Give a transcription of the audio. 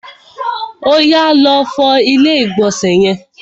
Oyà, lọ fọ ilé ìgbọ̀nsẹ̀ yẹn!